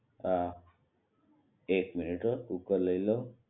હા એક મિનિટ હો કુકર લઈ લઉં